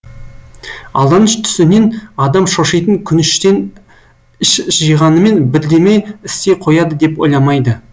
алданыш түсінен адам шошитын күніштен іш жиғанымен бірдеме істей қояды деп ойламайды